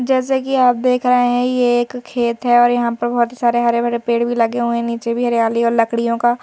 जैसे कि आप देख रहे हैं ये एक खेत है और यहां पर बहुत ही सारे हरे भरे पेड़ भी लगे हुए हैं नीचे भी हरियाली और लकड़ियों का--